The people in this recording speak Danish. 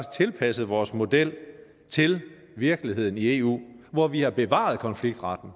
tilpasset vores model til virkeligheden i eu hvor vi har bevaret konfliktretten